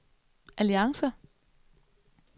alliance